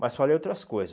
Mas falei outras coisas.